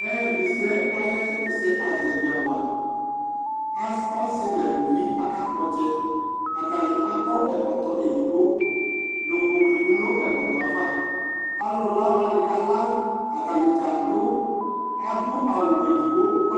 Ɛdi sɛ ayu ɛsɛazɛvi awa ɔsi neluvi ɔtsɛ atani akɔ ɛkɔtɔ edigbo duklu klidu nu ɛkɔtɔ ava alu la wani kala atani dza adu awu edigbo